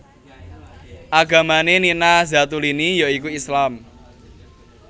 Agamané Nina Zatulini ya iku Islam